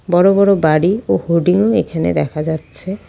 বড়ো বড়ো বাড়ি ও হোডিং -ও এখানে দেখা যাচ্ছে।